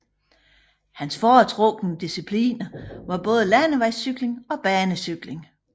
Hans foretrukne discipliner var både landevejscykling og banecykling